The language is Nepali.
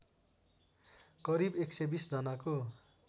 करिब एक सय २० जनाको